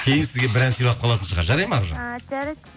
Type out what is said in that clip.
кейін сізге бір ән сыйлап қалатын шығар жарайды ма аружан і жарайды